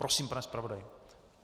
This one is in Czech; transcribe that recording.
Prosím, pane zpravodaji.